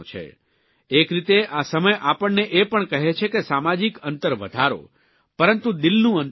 એક રીતે આ સમય આપણને એ પણ કહે છે કે સામાજીક અંતર વધારો પરંતુ દિલનું અંતર ઘટાડો